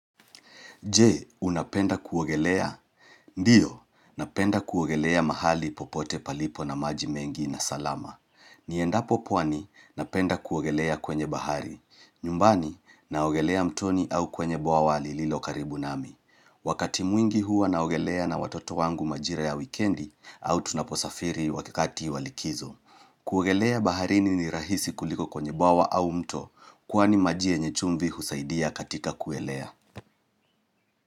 Je, unapenda kuogelea? Ndiyo, napenda kuogelea mahali popote palipo na maji mengi na salama. Niendapo pwani, napenda kuogelea kwenye bahari. Nyumbani, naogelea mtoni au kwenye bwawa lililo karibu nami. Wakati mwingi huwa naogelea na watoto wangu majira ya wikendi au tunaposafiri wakati wa likizo. Kuogelea baharini ni rahisi kuliko kwenye bwawa au mto, kwani maji yenye chumbi husaidia katika kuelea.